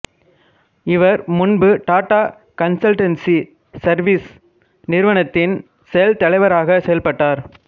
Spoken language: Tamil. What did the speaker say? இவர் முன்பு டாட்டா கன்சல்டன்சி சர்வீசஸ் நிறுவனத்தின் செயல் தலைவராகச் செயல்பட்டார்